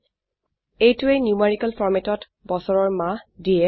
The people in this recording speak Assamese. এইটোৱে নিউমেৰিকেল ফৰম্যাটত বছৰৰ মাহ দিয়ে